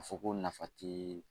A fɔ ko nafa ti